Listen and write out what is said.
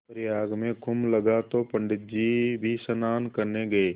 प्रयाग में कुम्भ लगा तो पंडित जी भी स्नान करने गये